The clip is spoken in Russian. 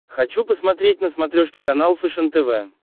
хочу посмотреть на смотрешке канал фэшен тв